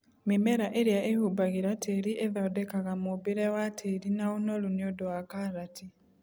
mĩmera ĩrĩa ĩhumbagĩra tĩri ithondekaga mũmbĩre wa tĩri na ũnoru nĩũndũ wa karati.